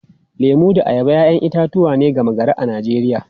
Lemu da ayaba ‘ya’yan itatuwa ne gama-gari a Najeriya.